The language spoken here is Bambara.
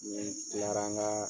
Ni n tilara an ka